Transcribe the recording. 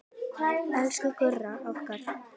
Elsku Gurra okkar.